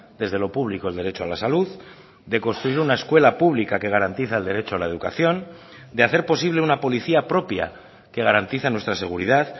desde lo público el derecho a la salud de construir una escuela pública que garantiza el derecho a la educación de hacer posible una policía propia que garantiza nuestra seguridad